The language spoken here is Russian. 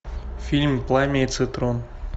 фильм пламя и цитрон